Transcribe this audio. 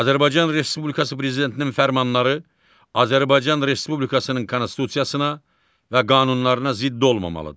Azərbaycan Respublikası Prezidentinin fərmanları Azərbaycan Respublikasının konstitusiyasına və qanunlarına zidd olmamalıdır.